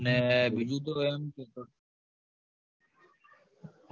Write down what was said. અને બીજું તો એમ કે તો તો